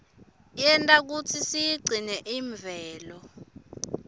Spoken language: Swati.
yenta kutsi siyigcine imvelo